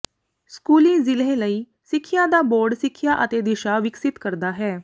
ਸਕੂਲੀ ਜ਼ਿਲ੍ਹੇ ਲਈ ਸਿੱਖਿਆ ਦਾ ਬੋਰਡ ਸਿੱਖਿਆ ਅਤੇ ਦਿਸ਼ਾ ਵਿਕਸਿਤ ਕਰਦਾ ਹੈ